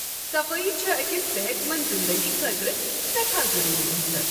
صفٲیی چھےٚ أکس صحت منٛد زنٛدگی خٲطرٕ سیٹھاہ ضروٗری انصر۔